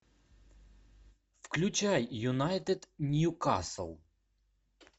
включай юнайтед ньюкасл